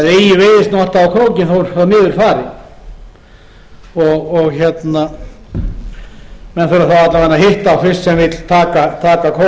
þó svo hann niður fari menn þurfa þá alla vega að hitta á fisk sem vill taka krók